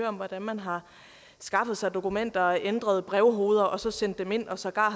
om hvordan man har skaffet sig dokumenter ændret brevhoveder og sendt dem ind og sågar